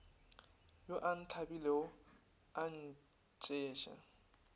yo a ntlhabile a ntšeša